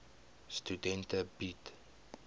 studente bied